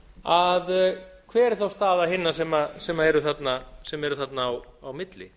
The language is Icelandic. hver er þá staða hinna sem eru þarna á milli